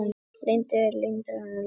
Lundey landaði loðnu